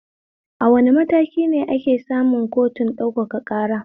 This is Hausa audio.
A wane matakine ake samun kotun ɗaukaka ƙara?